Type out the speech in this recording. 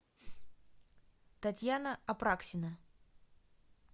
татьяна апраксина